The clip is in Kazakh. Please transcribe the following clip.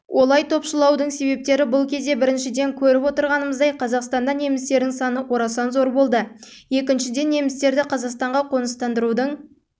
олай топшылаудың себептері бұл кезде біріншіден көріп отырғанымыздай қазақстанда немістердің саны орасан зор болды екіншіден немістерді қазақстанға қоныстандырудың